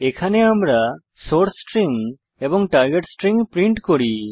এখানে আমরা source string এবং টার্গেট স্ট্রিং প্রিন্ট করি